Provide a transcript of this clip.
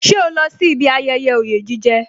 Ṣé o lọ sí ibi ayẹyẹ oye jije